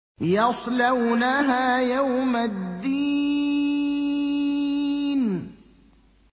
يَصْلَوْنَهَا يَوْمَ الدِّينِ